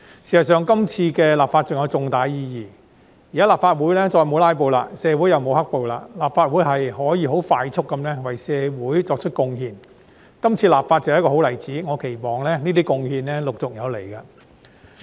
事實上，這次立法還有重大意義，現在立法會再沒有"拉布"，社會又沒有"黑暴"，立法會可以快速地為社會作出貢獻，這次立法正是一個好例子，我期望這些貢獻陸續有來。